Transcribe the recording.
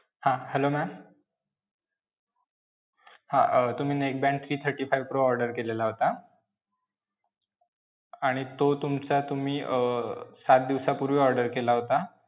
हां, hello ma'am हां. अं तुम्ही neckband three thirty-five pro order केलेला होता. आणि तो तुमचा तुम्ही अं सात दिवसापूर्वी order केला होता.